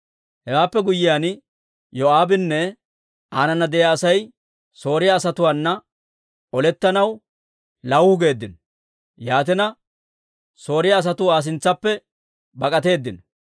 Hewaappe guyyiyaan, Yoo'aabinne aananna de'iyaa Asay Sooriyaa asatuwaana olettanaw lawuhu geeddino. Yaatina, Sooriyaa asatuu Aa sintsaappe bak'atteedino.